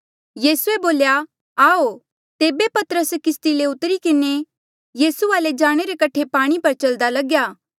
यीसूए बोल्या आऊ तेबे पतरस किस्ती ले उतरी किन्हें यीसू वाले जाणे रे कठे पाणी पर चल्दा लग्या